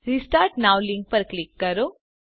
restart now link પર click કરો